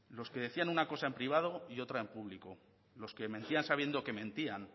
los que decían una cosa en privado y otra en público los que mentían sabiendo que mentían